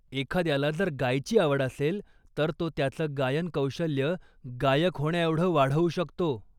एखाद्याला जर गायची आवड असेल, तर तो त्याचं गायन कौशल्य गायक होण्याएवढं वाढवू शकतो.